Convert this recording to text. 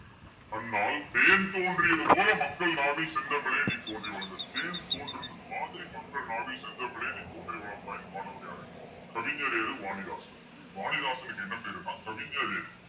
அன்னால் தேன் தோன்றியது போல மக்கள் நாவில் செந்தமிழே நீ தோன்றி வளர்ந்தது தேன் தோன்றியது மாதிரி மக்கள் நாவில் செந்தமிழே நீ தோன்றி வளர்ந்தாய் பாடுனவர் யாரு கவிஞரேறு வாணிதாசன் வாணிவாசனுக்கு என்ன பேருன்னா கவிஞரேறு